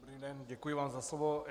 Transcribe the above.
Dobrý den, děkuji vám za slovo.